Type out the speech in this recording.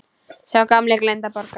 Sá gamli gleymdi að borga.